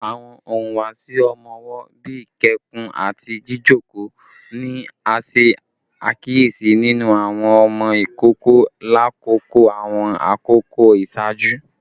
Awọn ihuwasi ọmọ wo, bii ikẹkun ati jijoko, ni a ṣe akiyesi ninu awọn ọmọ ikoko lakoko awọn akoko iṣaaju?